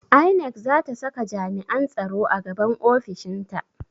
INEC zata saka jami'an tsaro a gaban ofishinta